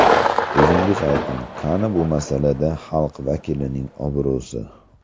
O‘zingiz ayting, qani bu masalada xalq vakilining obro‘si?